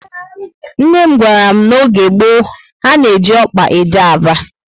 Nne m gwara m na n'oge gboo, ha na eji ọkpa eje Aba